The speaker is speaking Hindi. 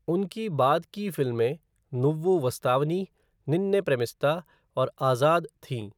उनकी बाद की फिल्में नुव्वु वस्तावनी, निन्ने प्रेमिस्ता और आज़ाद थीं।